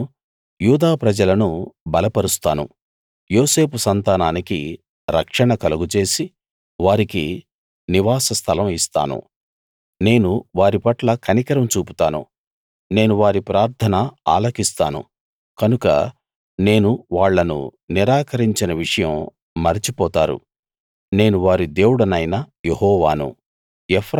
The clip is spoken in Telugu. నేను యూదా ప్రజలను బలపరుస్తాను యోసేపు సంతానానికి రక్షణ కలుగజేసి వారికి నివాసస్థలం ఇస్తాను నేను వారిపట్ల కనికరం చూపుతాను నేను వారి ప్రార్థన ఆలకిస్తాను కనుక నేను వాళ్ళను నిరాకరించిన విషయం మరచిపోతారు నేను వారి దేవుడనైన యెహోవాను